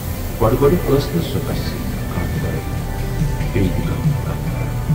گۅڈٕ گۅڈٕ ٲس نہٕ سۅ تَس سۭتۍ کامہِ ورٲے بییہِ تہِ کانہہ کتھ کَران۔